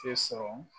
Tɛ sɔrɔ